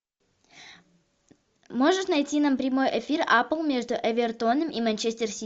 можешь найти нам прямой эфир апл между эвертоном и манчестер сити